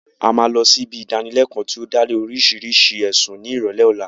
A máa lọ sí ibi ìdánilẹkọ́ tí ó dá lé lórii oríṣi ẹ̀sùn ní ìrọ̀lẹ́ ọ̀la